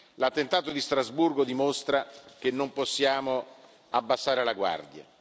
L'attentato di Strasburgo dimostra che non possiamo abbassare la guardia.